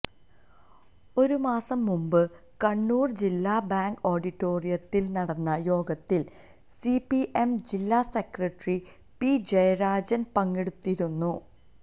ഒരുമാസം മുമ്പ് കണ്ണൂർ ജില്ലാ ബാങ്ക് ഓഡിറ്റോറിയത്തിൽ നടന്ന യോഗത്തിൽ സിപിഎം ജില്ലാ സെക്രട്ടറി പി ജയരാജൻ പങ്കെടുത്തിരുന്നു